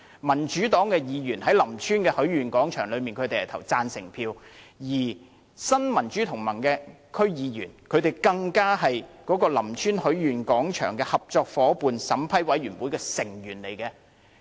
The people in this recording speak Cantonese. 民主黨的區議員就林村許願廣場的項目是投贊成票的，而新民主同盟的區議員更是林村許願廣場合作伙伴申請評審委員會的成員。